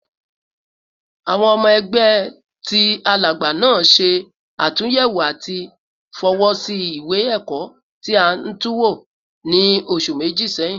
Awọn ọmọ ẹgbẹ ti Alagba naa ṣe atunyẹwo ati fọwọsi iwe-ẹkọ ti a tunwo ni oṣu meji sẹhin